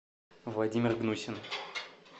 владимир гнусин